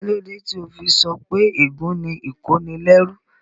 Kíló dé tó o fi sọ pé ègún ni ìkónilẹ́rú?